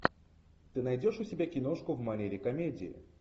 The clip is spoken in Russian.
ты найдешь у себя киношку в манере комедии